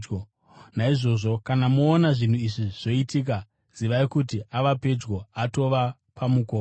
Naizvozvo kana moona zvinhu izvi zvoitika, zivai kuti ava pedyo, atova pamukova.